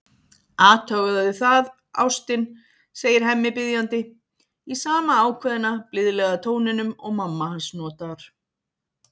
Athugaðu það, ástin, segir Hemmi biðjandi, í sama ákveðna, blíðlega tóninum og mamma hans notar.